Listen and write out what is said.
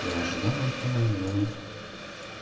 я ожидал этого но